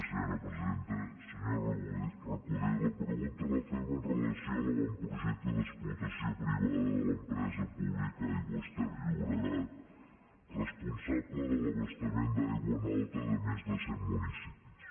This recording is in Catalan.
senyor recoder la pregunta la fem amb relació a l’avantprojecte d’explotació privada de l’empresa pública aigües ter llobregat responsable de l’abastament d’aigua en alta de més de cent municipis